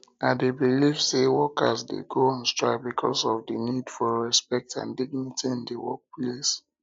i dey believe say workers dey go on strike because of di need for respect and dignity in di workplace